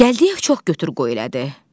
Gəldiyev çox götür-qoy elədi.